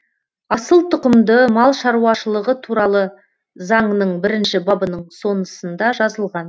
асыл тұқымды мал шаруашылығы туралы заңның бірінші бабының сонысында жазылған